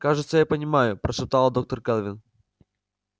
кажется я понимаю прошептала доктор кэлвин